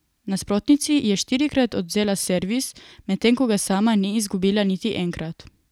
Nasprotnici je štirikrat odvzela servis, medtem ko ga sama ni izgubila niti enkrat.